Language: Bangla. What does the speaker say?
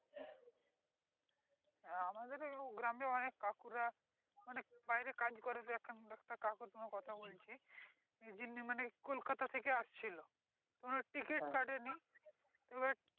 আমাদের গ্রামে অনেক কাকুরা অনেক বাইরে কাজ করে তো একটা কাকুর তোমায় কথা বলছি যিনি মানে কলকাতা থেকে আসছিল তো ওনার ticket কাটে নি তো এবার